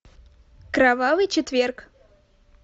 кровавый четверг